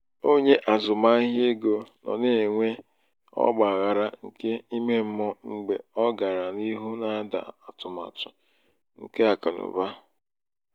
onye azụmahịa ego no na-enwe ọgba aghara nke ímé mmụọ mgbe ọ gàrà n'ihu na-ada n'atụmatụ nke nke akụnaụba.